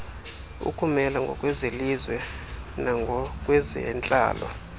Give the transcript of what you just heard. ukumela ngokwezelizwe nangokwezentlalo